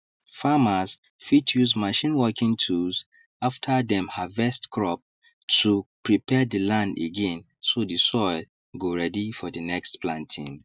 farmers fit use machine working tools after dem harvest crop to prepare the land again so the soil go ready for the next planting